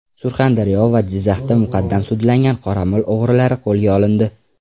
Surxondaryo va Jizzaxda muqaddam sudlangan qoramol o‘g‘rilari qo‘lga olindi.